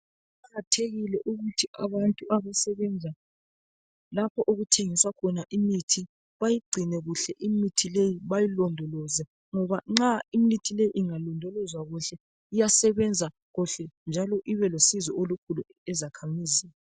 Kuqakathekile ukuthi abantu abasebenza lapho okuthengiswa khona imithi bayigcine kuhle imithi leyi bayilondoloze ngoba nxa imithi le ingalondolozwa kuhle iyasebenza kuhle njalo ibe lusizo olukhulu ezakhamizini